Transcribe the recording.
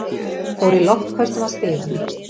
Fór í loftköstum að stiganum.